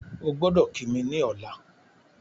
Ogbọ́dọ̀ kí mi ní ọ̀la